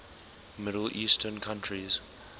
middle eastern countries